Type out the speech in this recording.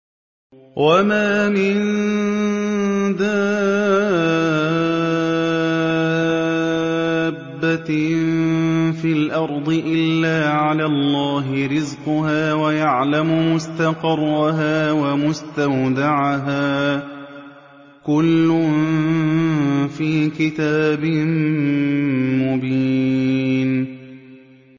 ۞ وَمَا مِن دَابَّةٍ فِي الْأَرْضِ إِلَّا عَلَى اللَّهِ رِزْقُهَا وَيَعْلَمُ مُسْتَقَرَّهَا وَمُسْتَوْدَعَهَا ۚ كُلٌّ فِي كِتَابٍ مُّبِينٍ